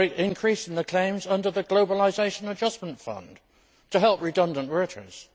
A great increase in the claims under the Globalisation Adjustment Fund to help redundant workers.